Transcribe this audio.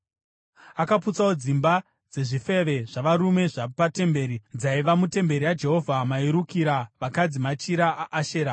Akaputsawo dzimba dzezvifeve zvavarume zvapatemberi dzaiva mutemberi yaJehovha mairukira vakadzi machira aAshera.